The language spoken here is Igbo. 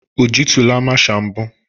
O jitụla masha mbụ?